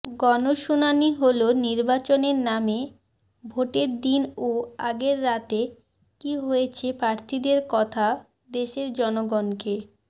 গণশুনানি হলো নির্বাচনের নামে ভোটের দিন ও আগের রাতে কী হয়েছে প্রার্থীদের কথা দেশের জনগণকে